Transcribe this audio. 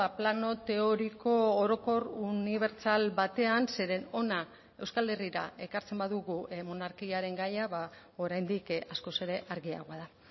plano teoriko orokor unibertsal batean zeren hona euskal herrira ekartzen badugu monarkiaren gaia oraindik askoz ere argiagoa da